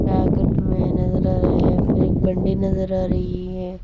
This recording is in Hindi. पैकेट में नजर आ रहे हैं फिर एक बंडी नजर आ रही है।